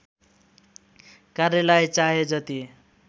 कार्यलाई चाहे जति